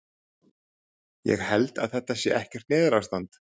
Ég held að þetta sé ekkert neyðarástand.